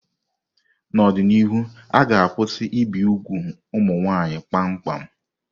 N'ọdịnihu, a ga-akwụsị ibi úgwù ụmụ nwanyị kpamkpam.